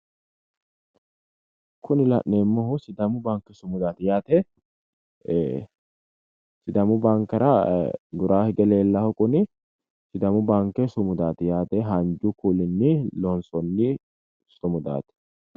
Kuni la'neemmohu sidaamu baanke sumudaati yaate sidaamu baankera guraanni hige leellannohu kuni sidaamu baanke sumudaati yaate haanju kuulinni loonsonni sumudaati.